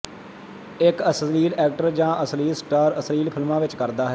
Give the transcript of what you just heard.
ਇੱਕ ਅਸ਼ਲੀਲ ਐਕਟਰ ਜਾਂ ਅਸ਼ਲੀਲ ਸਟਾਰ ਅਸ਼ਲੀਲ ਫਿਲਮਾਂ ਵਿੱਚ ਕਰਦਾ ਹੈ